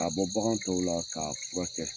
Ka bɔ bagan tɔw la k'a furakɛ